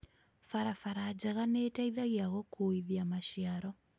Barabara njega nĩ iteithagia gũkuithia maciaro.